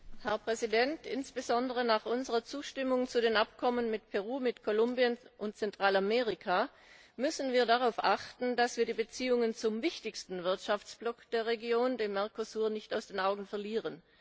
Herr Präsident! Insbesondere nach unserer Zustimmung zu den Abkommen mit Peru, mit Kolumbien und Zentralamerika müssen wir darauf achten, dass wir die Beziehungen zum wichtigsten Wirtschaftsblock der Region, dem Mercosur, nicht aus den Augen verlieren.